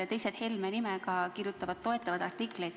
Ja teised Helme nimega inimesed kirjutavad erakonda toetavaid artikleid.